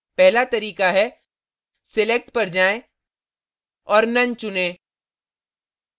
पहला तरीका है select पर जाएँ और none none चुनें